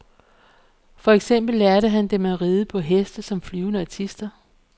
For eksempel lærte han dem at ride på heste som flyvende artister.